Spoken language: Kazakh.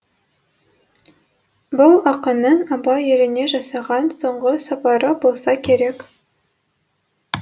бұл ақынның абай еліне жасаған соңғы сапары болса керек